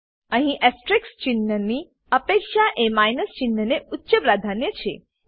અહી એસ્ટેરિસ્ક ચિન્હની અપેક્ષા એ માઈનસ ચિન્હને ઉચ્ચ પ્રાધાન્ય છે